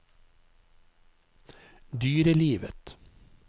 dyrelivet